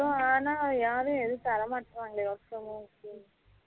ஆனா யாரும் ஏதும் தரா மாட்ராங்க work from home க்கு